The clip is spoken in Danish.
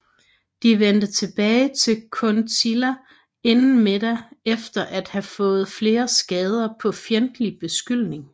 De vendte tilbage til Kuntilla inden middag efter at have fået flere skader fra fjendtlig beskydning